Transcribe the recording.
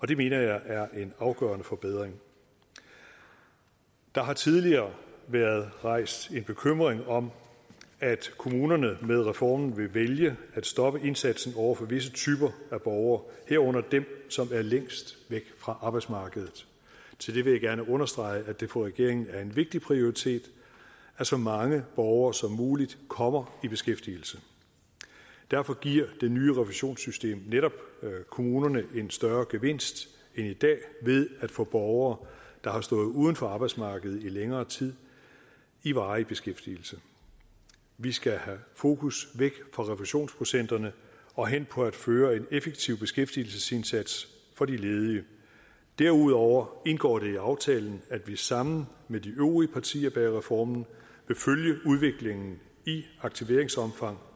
det mener jeg er en afgørende forbedring der har tidligere været rejst en bekymring om at kommunerne med reformen vil vælge at stoppe indsatsen over for visse typer af borgere herunder dem som er længst væk fra arbejdsmarkedet til det vil jeg gerne understrege at det for regeringen er en vigtig prioritet at så mange borgere som muligt kommer i beskæftigelse derfor giver det nye refusionssystem netop kommunerne en større gevinst end i dag ved at få borgere der har stået uden for arbejdsmarkedet i længere tid i varig beskæftigelse vi skal have fokus væk fra refusionsprocenterne og hen på at føre en effektiv beskæftigelsesindsats for de ledige derudover indgår det i aftalen at vi sammen med de øvrige partier bag reformen vil følge udviklingen i aktiveringsomfang